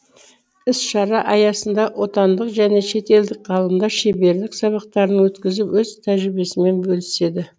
іс шара аясында отандық және шетелдік ғалымдар шеберлік сабақтарын өткізіп өз тәжірибесімен бөліседі